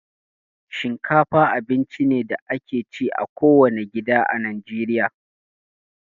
Shinkafa abinci ne da ake ci a kowane gida a Najeriya